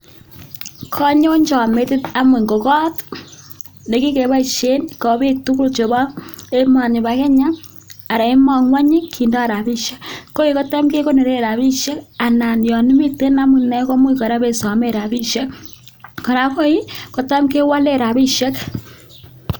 Konyonchon metit anyun ko koot nekikeboishen ko biik tukul chebo emoni bo kenya anan ngwony kindo rabishek, koii kotam kekonoren rabishek anan yoon miten amune komuch kora ibeisomen rabishek, kora koi kotam kewolen rabishek.